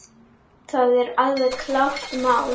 Það er alveg klárt mál.